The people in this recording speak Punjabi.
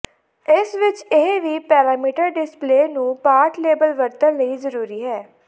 ਇਸ ਵਿਚ ਇਹ ਵੀ ਪੈਰਾਮੀਟਰ ਡਿਸਪਲੇਅ ਨੂੰ ਪਾਠ ਲੇਬਲ ਵਰਤਣ ਲਈ ਜ਼ਰੂਰੀ ਹੈ